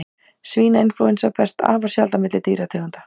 Svínainflúensa berst afar sjaldan milli dýrategunda.